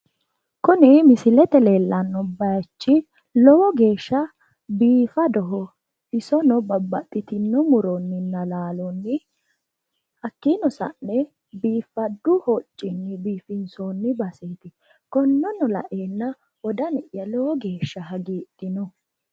kuni misilete aana leellanno bayiichi lowo geeshsha biifadoho isono babbaxitino muronninna laalonni hakkiino sa'ne biifaddu hoccinni biifinsoonni baseeti konneno laeenna wodani'ya lowo geeshsha hagiidhino.